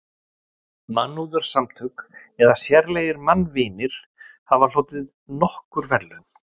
Mannúðarsamtök eða sérlegir mannvinir hafa hlotið nokkur verðlaun.